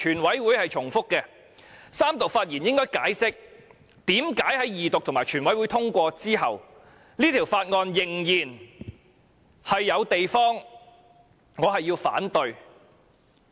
我在三讀發言應該解釋，為何在二讀和全體委員會通過後，《條例草案》仍然有我反對的地方。